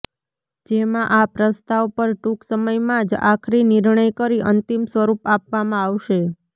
જેમાં આ પ્રસ્તાવ પર ટૂંક સમયમાં જ આખરી નિર્ણય કરી અંતિમ સ્વરૂપ આપવામાં આવશે